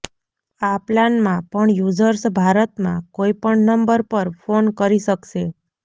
આ પ્લાનમાં પણ યુઝર્શ ભારતમાં કોઇ પણ નંબર પર ફોન કરી શકશે